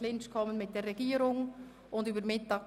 Damit liegen wir mit der Regierung im Clinch.